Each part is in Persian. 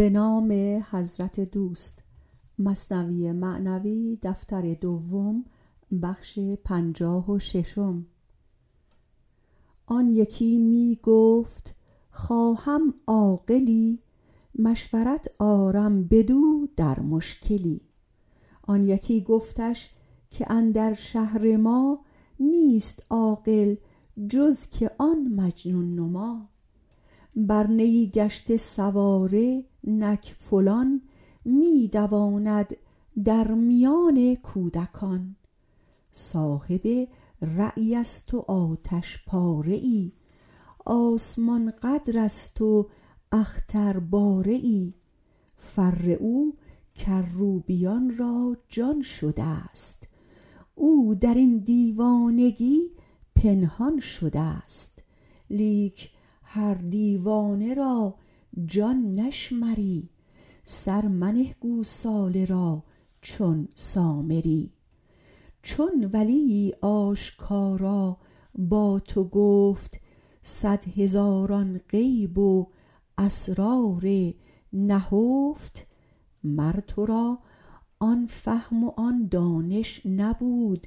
آن یکی می گفت خواهم عاقلی مشورت آرم بدو در مشکلی آن یکی گفتش که اندر شهر ما نیست عاقل جز که آن مجنون نما بر نیی گشته سواره نک فلان می دواند در میان کودکان صاحب رایست و آتش پاره ای آسمان قدرست و اخترباره ای فر او کروبیان را جان شدست او درین دیوانگی پنهان شدست لیک هر دیوانه را جان نشمری سر منه گوساله را چون سامری چون ولیی آشکارا با تو گفت صد هزاران غیب و اسرار نهفت مر ترا آن فهم و آن دانش نبود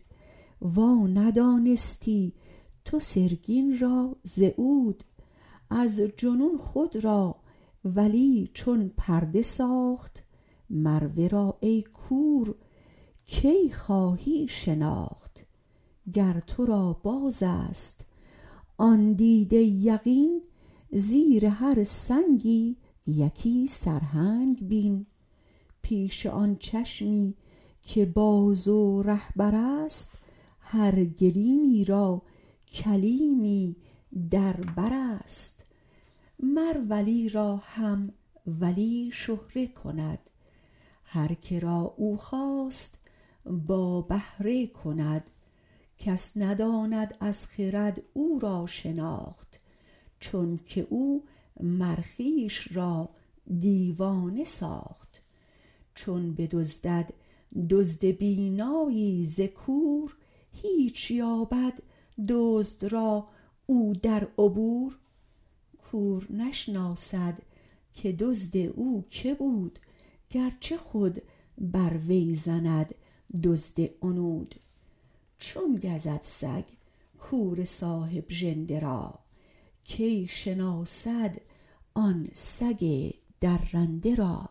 وا ندانستی تو سرگین را ز عود از جنون خود را ولی چون پرده ساخت مر ورا ای کور کی خواهی شناخت گر ترا بازست آن دیده یقین زیر هر سنگی یکی سرهنگ بین پیش آن چشمی که باز و رهبرست هر گلیمی را کلیمی در برست مر ولی را هم ولی شهره کند هر که را او خواست با بهره کند کس نداند از خرد او را شناخت چونک او مر خویش را دیوانه ساخت چون بدزدد دزد بینایی ز کور هیچ یابد دزد را او در عبور کور نشناسد که دزد او که بود گرچه خود بر وی زند دزد عنود چون گزد سگ کور صاحب ژنده را کی شناسد آن سگ درنده را